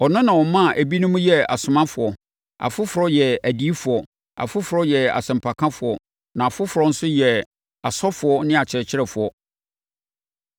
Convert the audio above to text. Ɔno na ɔmaa ebinom yɛɛ asomafoɔ, afoforɔ yɛɛ adiyifoɔ, afoforɔ yɛɛ asɛmpakafoɔ, na afoforɔ nso yɛɛ asɔfoɔ ne akyerɛkyerɛfoɔ.